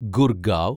Gurgaon